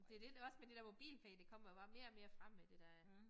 Det det også med det der MobilePay det kommer bare mere og mere frem med det der